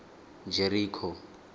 jeriko